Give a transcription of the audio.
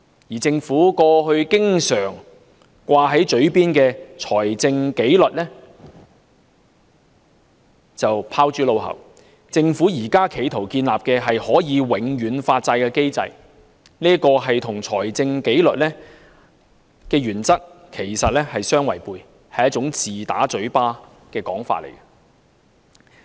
而政府過去經常掛在嘴邊的"財政紀律"則拋諸腦後，政府現正試圖建立可以永遠發債的機制，這與財政紀律的原則相違背，是自打嘴巴的說法。